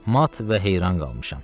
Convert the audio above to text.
Mat və heyran qalmışam.